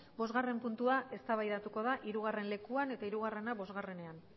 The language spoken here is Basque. bosgarren puntua eztabaidatuko da hirugarren lekuan eta hirugarrena bosgarrenean